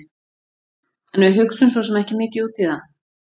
En við hugsum svo sem ekki mikið út í það.